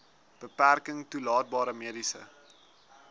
beperking toelaatbare mediese